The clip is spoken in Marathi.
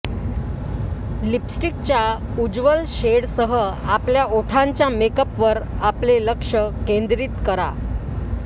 लिपस्टिकच्या उज्ज्वल शेडसह आपल्या ओठांच्या मेकअपवर आपले लक्ष केंद्रित करा